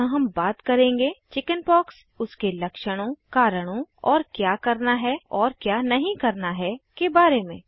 यहाँ हम बात करेंगे चिकिन्पॉक्स उसके लक्षणों कारणों और क्या करना है और क्या नहीं करना है के बारे में